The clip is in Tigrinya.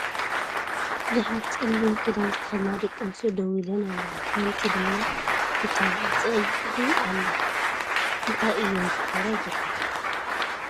ብዙሓት ፀሊም ክዳን ዝተከደና ደቂ ኣንስትዮ ደው ኢልን ኣለዋ ሓንቲ ድማ ኩታ ብ ፀግዒ ኣላ ። እንታይ እይን ዝገብራ ዘለዋ ?